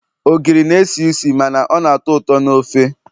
ogiri na-esi isi mana ọ na-atọ ụtọ na ofe